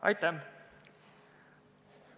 Aitäh!